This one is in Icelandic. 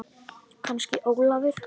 Kannski Ólafur.